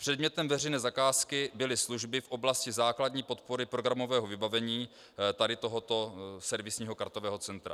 Předmětem veřejné zakázky byly služby v oblasti základní podpory programového vybavení tady tohoto servisního kartového centra.